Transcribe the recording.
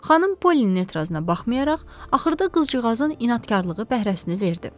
Xanım Pollinin etirazına baxmayaraq, axırda qızcığazın inadkarlığı bəhrəsini verdi.